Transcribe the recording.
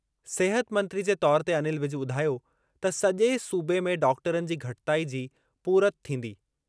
सिहत मंत्री जे तौरु ते अनिल विज ॿुधायो त सजे॒ सूबे में डॉक्टरनि जी घटिताई जी पूरति थींदी।